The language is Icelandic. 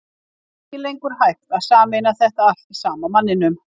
Er ekki lengur hægt að sameina þetta allt í sama manninum?